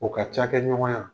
O ka cakɛ ɲɔgɔnya.